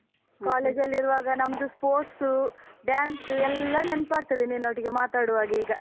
College ನಲ್ಲಿರುವಾಗ ನಮ್ದು sports, dance ಎಲ್ಲ ನೆನಪಾಗ್ತದೆ, ನಿನ್ನೊಟ್ಟಿಗೆ ಮಾತಾಡುವಾಗೀಗ.